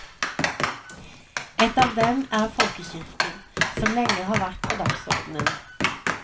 Et av dem er folkekirken, som lenge har vært på dagsordenen.